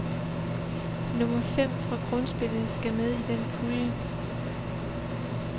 Nummer fem fra grundspillet skal med i den pulje.